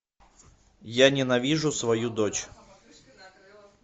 я ненавижу свою дочь